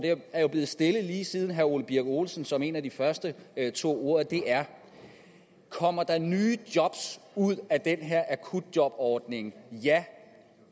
er jo blevet stillet lige siden herre ole birk olesen som en af de første tog ordet er kommer der nye job ud af den her akutjobordning ja